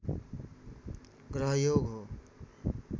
ग्रहयोग हो